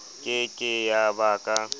ke ke ya ba ka